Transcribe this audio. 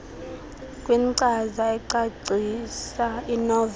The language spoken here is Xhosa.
kwinkcaza ecacisa inoveli